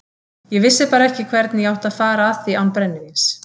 Ég vissi bara ekki hvernig ég átti að fara að því án brennivíns.